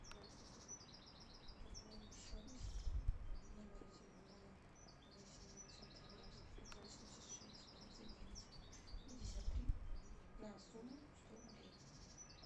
пополни счет номера телефона восемь девятьсот тринадцать пятьсот семьдесят шесть двадцать девять пятьдесят три на сумму сто рублей